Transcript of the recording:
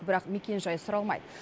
бірақ мекенжай сұралмайды